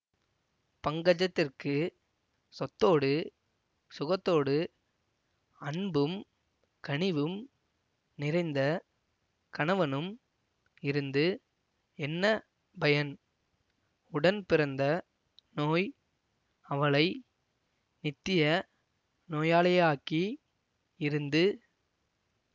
பங்கஜத்திற்குச் சொத்தோடு சுகத்தோடு அன்பும் கனிவும் நிறைந்த கணவனும் இருந்து என்ன பயன் உடன்பிறந்த நோய் அவளை நித்திய நோயாளியாக்கி இருந்து